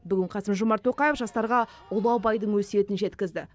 бүгін қасым жомарт тоқаев жастарға ұлы абайдың өсиетін жеткізді